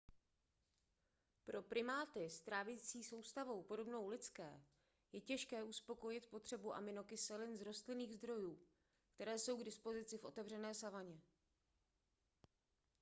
pro primáty s trávicí soustavou podobnou lidské je těžké uspokojit potřebu aminokyselin z rostlinných zdrojů které jsou k dispozici v otevřené savaně